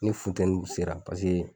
Ni funteni sera paseke